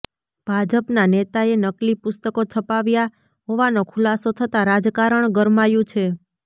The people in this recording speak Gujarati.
ભાજપના નેતાએ નકલી પુસ્તકો છપાવ્યા હોવાનો ખુલાસો થતા રાજકારણ ગરમાયું છે